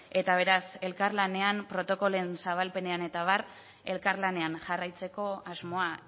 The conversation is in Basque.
eta beraz elkarlanean protokoloen zabalpenean eta abar elkarlanean jarraitzeko asmoa